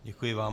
Děkuji vám.